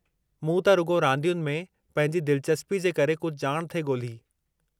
मूं त रुॻो रांदियुनि में पंहिंजी दिलचस्पी जे करे कुझु ॼाण थे ॻोल्ही।